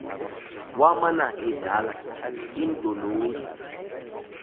wamana edlala iindolosi